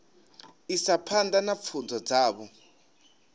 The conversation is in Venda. isa phanḓa na pfunzo dzavho